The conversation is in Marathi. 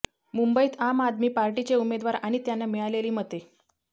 मुंबईत आम आदमी पार्टीचे उमेदवार आणि त्यांना मिळालेली मते